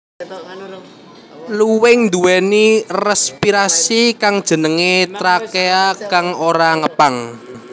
Luwing nduwèni respirasi kang jenengé trakea kang ora ngepang